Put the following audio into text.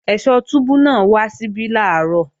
Ẹ̀sọ́ túbú náà wá síbí làárọ̀